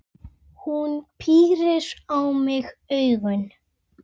Hún pírir á mig augun.